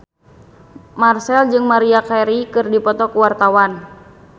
Marchell jeung Maria Carey keur dipoto ku wartawan